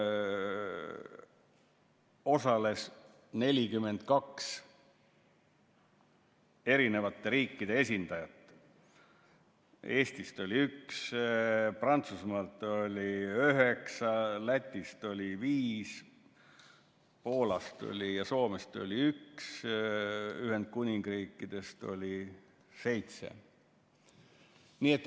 –, milles osales 42 eri riikide esindajat: Eestist oli üks, Prantsusmaalt üheksa, Lätist viis, Poolast ja Soomest üks, Ühendkuningriigist seitse.